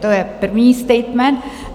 To je první statement.